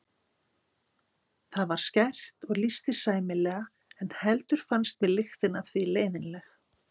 Það var skært og lýsti sæmilega en heldur fannst mér lyktin af því leiðinleg.